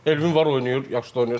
Elvin var, oynayır, yaxşı da oynayır.